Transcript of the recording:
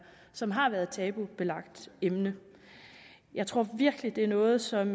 som har været et tabubelagt emne jeg tror virkelig det er noget som